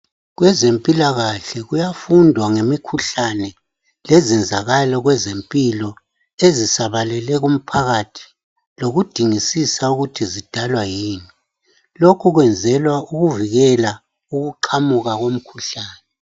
Kwezempilakahle kuyafundwa ngemikhuhlane lezenzakalo kwezempilo ezisabalele umphakathi lokudingisisa ukuthi zidalwa yini. Lokhu kwenzelwa ukuvikela ukuqhamuka kwemikhuhlane.